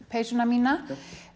peysuna mína